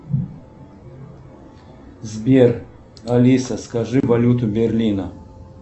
сбер алиса скажи валюту берлина